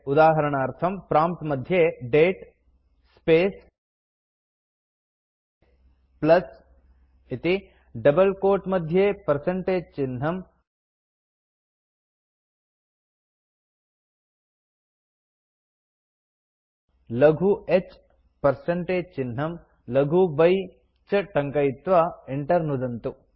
उदाहरणार्थं प्रॉम्प्ट् मध्ये दते स्पेस् प्लस् इति डबल क्वोट मध्ये पर्सेन्टेज चिह्नं लघु h पर्सेन्टेज चिह्नं लघु y इति च टङ्कयित्वा enter नुदन्तु